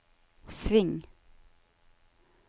sving